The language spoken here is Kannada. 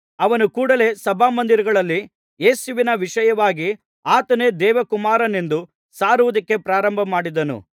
ಅವನು ಕೂಡಲೇ ಸಭಾಮಂದಿರಗಳಲ್ಲಿ ಯೇಸುವಿನ ವಿಷಯವಾಗಿ ಆತನೇ ದೇವಕುಮಾರನೆಂದು ಸಾರುವುದಕ್ಕೆ ಪ್ರಾರಂಭಮಾಡಿದನು